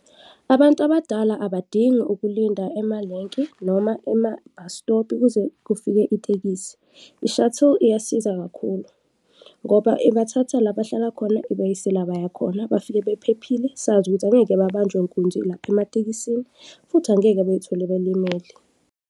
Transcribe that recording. Abantu abadala abadingi ukulinda emalenki noma ema-bus stop-i kuze kufike itekisi. I-shuttle iyasiza kakhulu ngoba ibathatha la bahlala khona ibayise la baya khona, bafike bephephile, sazi ukuthi angeke babanjwe nkunzi lapha ematekisini futhi angeke bezithole belimele.